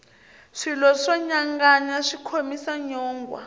swilo swo nyanganya swi khomisa nyongwha